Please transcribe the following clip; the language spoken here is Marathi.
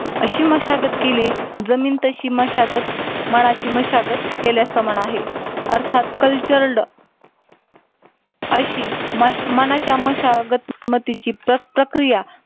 अशी मशागत केली. जमीन तशी मशागत मनाची मशागत केल्या समान आहे. अर्थात कल्चरलड अशी मनाच्या मशागतीची प्रक्रिया